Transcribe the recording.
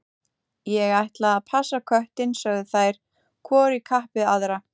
Ég ætla að passa köttinn, sögðu þær hvor í kapp við aðra.